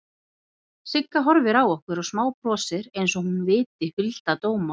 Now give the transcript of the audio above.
Sigga horfir á okkur og smábrosir einsog hún viti hulda dóma.